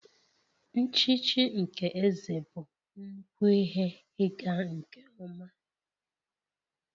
Nchichi nke eze bụ nnukwu ihe ịga nke ọma